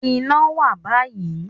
Iná wà báyìí